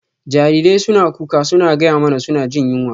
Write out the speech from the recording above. Jarirai suna kuka suna gaya mana suna jin yunwa.